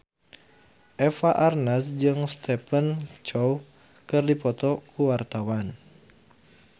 Eva Arnaz jeung Stephen Chow keur dipoto ku wartawan